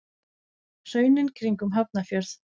Hraunin kring um Hafnarfjörð.